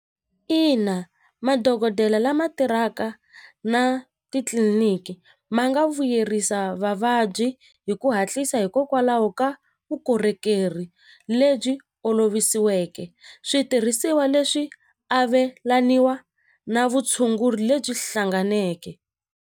Ina madokodela lama tirhaka na titliliniki ma nga vuyerisa vavabyi hi ku hatlisa hikokwalaho ka vukorhokeri lebyi olovisiweke switirhisiwa leswi avelaniwa na vutshunguri lebyi hlanganeke.